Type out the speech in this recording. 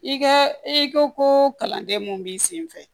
I ka i ko ko kalanden mun b'i sen fɛ